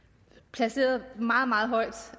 placeret meget meget højt